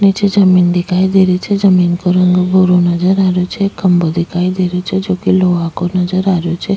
नीचे जमीन दिखाई दे रही छे जमीन को रंग भूरो नजर आ रहियो छे एक खम्भों दिखाई दे रहियो छे जो की लोहा को नजर आ रहियो छे।